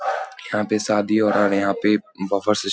यहाँ पे शादी हो रहा है और यहाँ पे बुफे सीस --